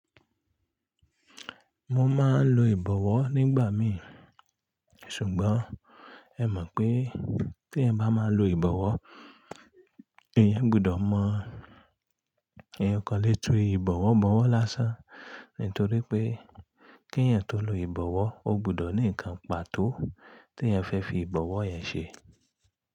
Mo máa ń lo ìbọ̀wọ́ nígbà mi. Ṣùgbọ́n ẹ mọ̀ pé ti èèyàn bá máa lo ìbọ̀wọ́, èèyàn gbudọ̀ mọ èèyàn o kan lé túú ìbọ̀wọ́ bọ̀wọ̀ lásán. Nítorí pé kí èèyàn tó lo ìbọ̀wọ́, o gbudọ̀ ní ǹkan pàtó tí ẹ̀yin fẹ́ fi ìbọ̀wọ́ yẹn ṣe.